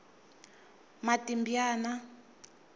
matibyana